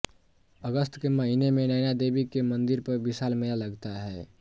अगस्त के महिने में नैना देवी के मंदिर पर विशाल मेला लगता है